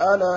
أَلَا